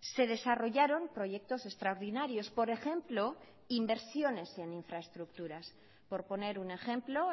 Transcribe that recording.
se desarrollaron proyectos extraordinarios por ejemplo inversiones en infraestructuras por poner un ejemplo